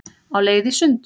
Á leið í sund